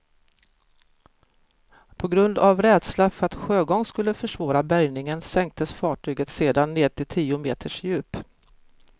På grund av rädsla för att sjögång skulle försvåra bärgningen sänktes fartyget sedan ned till tio meters djup.